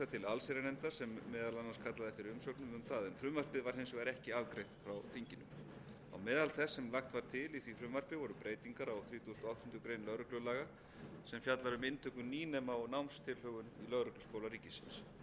til allsherjarnefndar sem meðal annars kallaði eftir umsögnum um það frumvarpið var hins vegar ekki afgreitt frá þinginu á meðal þess sem lagt var til í því frumvarpi voru breytingar á þrítugasta og áttundu greinar lögreglulaga sem fjallar um inntöku nýnema og námstilhögun í lögregluskóla ríkisins